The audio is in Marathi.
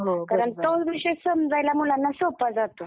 कारण तोच विषय समजायला मुलांना सोपा जातो.